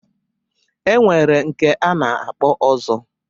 E nwere nke a na-akpọ Ọzọ.